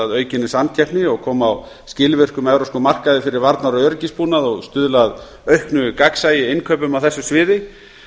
aukinni samkeppni og koma á skilvirkum evrópskum markaði fyrir varnar og öryggisbúnað og stuðla að auknu gagnsæi í innkaupum á þessu sviði